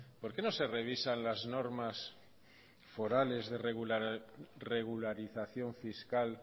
por qué no se revisan las normas forales de regularización fiscal